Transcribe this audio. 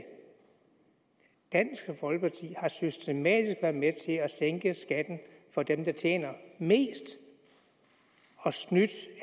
dansk folkeparti har systematisk været med til at sænke skatten for dem der tjener mest og snyde